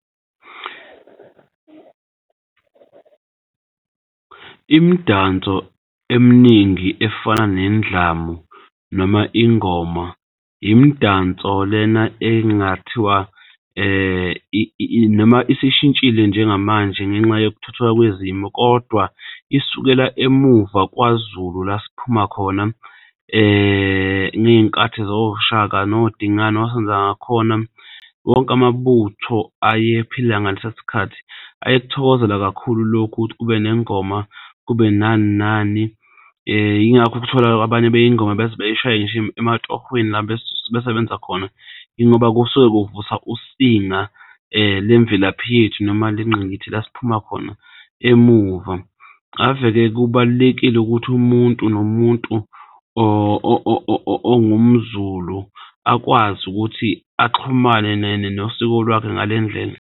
Imidanso eminingi efana nendlamu noma ingoma, imidanso lena engakuthiwa noma isishintshile njengamanje ngenxa yokuthuthwa kwezimo kodwa isukela emuva KwaZulu, la siphuma khona ngey'nkathi zoShaka noDingani noSenzangakhona. Wonke amabutho ayephila ngalesa sikhathi ayekuthokozela kakhulu lokhu ukuthi kube nengoma kube nani nani. Yingakho ukuthola abanye ingoma bey'shaye ngisho ematohweni la besebenza khona yingoba kusuke kuvuswa usinga lemvelaphi yethu noma lasiphuma khona emuva. Ave-ke kubalulekile ukuthi umuntu nomuntu ongumZulu akwazi ukuthi axhumane nosiko lwakhe ngale ndlela.